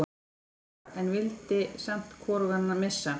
Dóra, en vildi samt hvorugan missa.